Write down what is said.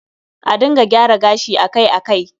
A dinga gyara gashi akai-akai